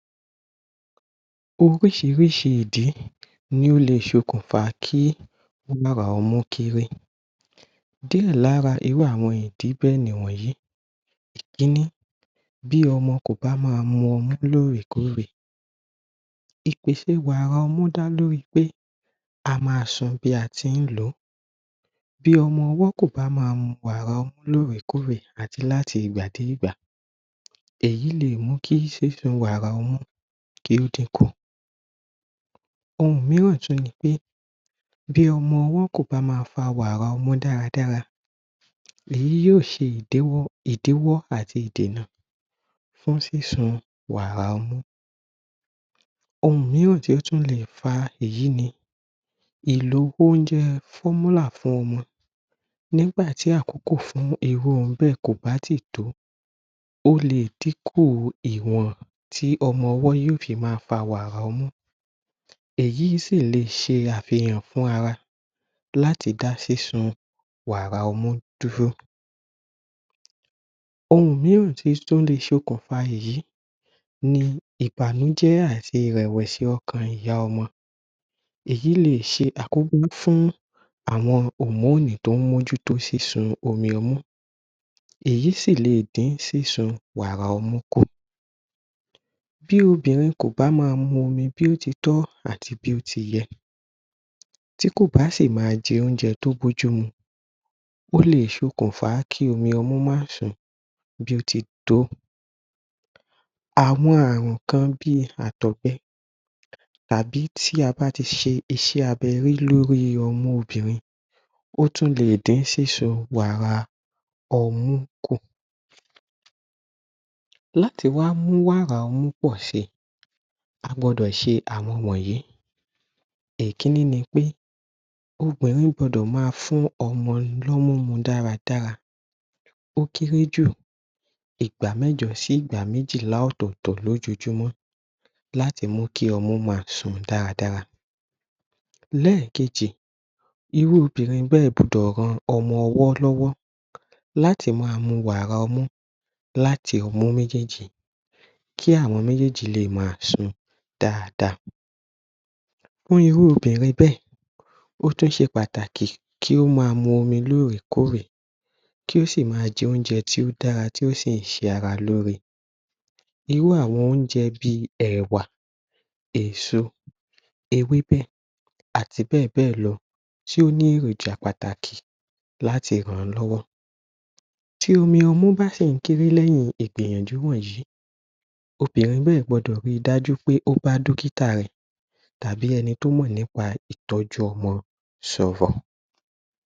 Ọríṣiríṣi ìdí ni ó lè ṣe okùnfà kí ọmọ kéré. Díẹ̀ lára irú àwọn ìdí bẹ́ẹ̀ ni àwọn wọ̀nyí. Ìkíní. BÍ ọmọ kò bá máa mu ọmú lóòrèkóòrè. Ìpèsè wàrà ọmú dá lórí pé a máa sun bí a tí lò ó. Bí ọmọ ọwọ́ kò bá máa mu wàrà ọmú lóòrèkóòrè àti láti ìgbàdégbà, èyí lè mú kí sísun wàrà ọmú kí o dìn kù. Ohun mìíràn tún ni pé bí ọmọ ọwọ́ kò bá máa fa wàrà ọmú dára dára èyí yóò ṣe ìdíwọ́ àti ìdénà fún sísun wàrà ọmú. Ohun mìíràn tí ó tún lè fa èyí ni ìlò oúnjẹ [formula] fún ọmọ nígbà tí àkókò fún irú ọmọ bẹ́ẹ̀ kò bá ì tí tó ó lè dín kù ìwọ̀n tí ọmọwọ́ yóò fi máa fa wàrà ọmú. Èyí sì lè ṣe àfihàn fún ara láti dá sísun wàrà ọmú dúró. Ohun mìíràn tí o tún lè ṣe okùnfà èyí ní ìbànújẹ́ àti ìrèwẹ̀só ọkàn ìyá ọmọ. Èyí lè ṣe àkóbá fún àwọn hòmónù tó mójú tó sísun omi ọmú. Èyí sì lè dín sísun wàrà ọmú kù. Bí obìnrin kò bá máa mu omi bí ó titọ́ àti bí ó tiyẹ, tí kò bá sì máa jẹ oúnjẹ tó bójú mu ó lè ṣe okùnfà kí omi ọmú máa sun bí ó titó. Àwọn àrùn kan bí àtọ̀pẹ tàbí tí a bá ti ṣe iṣẹ́ abẹ rí lórí ọmú obìnrin ó tún lè dín sísun wàrà ọmú kù. Láti wá mú wàrà ọmú pọ̀ṣẹ a gbọdọ̀ ṣe àwọn wọ̀nyí Ìkíní ni pé obìnrin gbọdọ̀ máa fún ọmọ ní ọmú dára dára o kẹré jù ìgbà mẹ́jọ sí ìgbà mẹ́jìlá ọ̀tọ̀tọ̀ lójoójúmọ́ láti mú kí ọmọ máa sùn dára dára. Lẹ́ẹ̀kẹjì. Irú obìnrin bẹ́ẹ̀ gbọdọ̀ ran ọmọ ọwọ́ lọ́wọ́ láti máa mu wàrà ọmú láti ọmú méjèèjì kí àwọn méjèèjì lè máa sun dáadáa. Irú obinrin bẹ́ẹ̀, ó tún ṣe pàtàkì kí ó máa mu omi lóòrèkóòrè kí ó sì máa jẹ oúnjẹ tí ó dára, tí ó sì ṣara lóre Irú àwọn oúnjẹ bí èwà èso, ewébẹ̀ àti bẹ́ẹ̀ bẹ́ẹ̀ lọ tí o nị́ èròjà pàtàkì láti ran lọ́wọ́. tí omi ọmú bá sì kéré lẹ́yìn ìgbìyànjú wọ̀nyí obìnrin náà gbọdọ̀ rí dájú wí pé o bá dọ́kítà rẹ̀ tàbí ẹni tí ó mọ̀ nípa ìtọ́jú ọmọ sọ̀rọ̀.